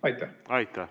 Aitäh!